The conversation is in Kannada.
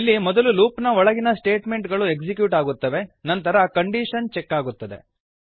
ಇಲ್ಲಿ ಮೊದಲು ಲೂಪ್ ನ ಒಳಗಿನ ಸ್ಟೇಟ್ಮೆಂಟ್ ಗಳು ಎಕ್ಸಿಕ್ಯೂಟ್ ಆಗುತ್ತದೆ ನಂತರ ಕಂಡೀಶನ್ ಚೆಕ್ ಆಗುತ್ತದೆ